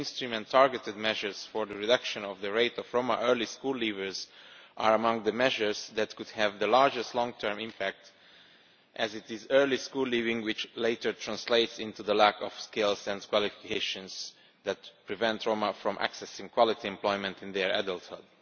Mainstream and targeted measures for the reduction of the rate of Roma early school leavers are among the measures that could have the largest long term impact, as it is early school leaving which later translates into the lack of skills and qualifications that prevent Roma from accessing quality employment in their adulthood.